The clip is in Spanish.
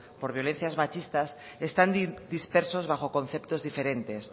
por violencias machistas están dispersos bajo conceptos diferentes